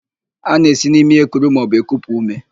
A na-esi n'imi ekuru maọbụ ekupu úmé.